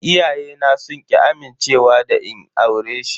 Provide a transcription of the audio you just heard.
Iyayena sun ki amincewa da in aure shi.